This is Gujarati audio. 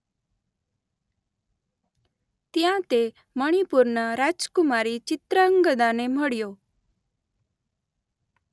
ત્યાં તે મણીપુરના રાજકુમારી ચિત્રાંગદાને મળ્યો.